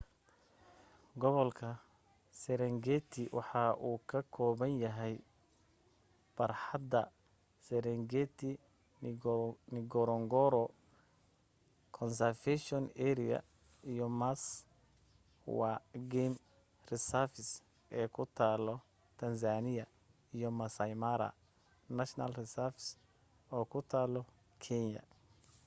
gobolka serengeti waxa uu ka kooban yahay barxadda sarengeti ngorongoro conservation area iyo maswa game reserve ee ku taal tanzania iyo maasai mara national reserve oo ku taal kenya